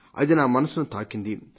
అది నా మనస్సును తాకింది